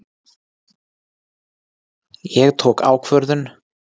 Ég tók ákvörðun.